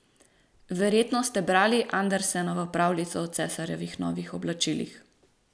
Verjetno ste brali Andersenovo pravljico o cesarjevih novih oblačilih.